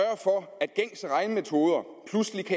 må